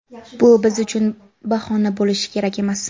Bu biz uchun bahona bo‘lishi kerak emas.